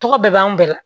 Tɔgɔ bɛɛ b'an bɛɛ la